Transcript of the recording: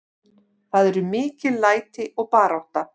Það eru mikil læti og barátta.